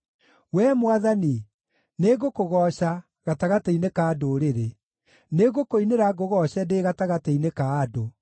Wee Mwathani, nĩngũkũgooca, gatagatĩ-inĩ ka ndũrĩrĩ; nĩngũkũinĩra ngũgooce ndĩ gatagatĩ-inĩ ka andũ.